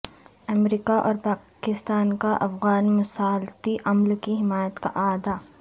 امریکہ اور پاکستان کا افغان مصالحتی عمل کی حمایت کا اعادہ